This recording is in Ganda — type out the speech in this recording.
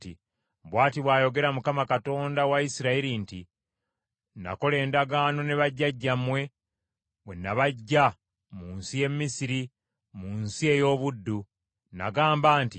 “Bw’ati bw’ayogera Mukama , Katonda wa Isirayiri nti, Nakola endagaano ne bajjajjammwe bwe nabaggya mu nsi y’e Misiri, mu nsi ey’obuddu. Nagamba nti,